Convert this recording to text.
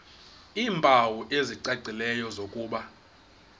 iimpawu ezicacileyo zokuba